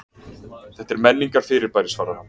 Þetta er menningarfyrirbæri svarar hann.